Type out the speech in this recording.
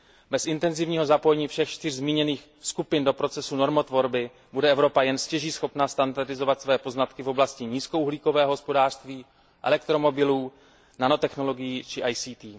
Bez intenzivního zapojení všech čtyř zmíněných skupin do procesu normotvorby bude Evropa jen stěží standardizovat své poznatky v oblasti nízkouhlíkového hospodářství, elektromobilů, nanotechnologií či ICT.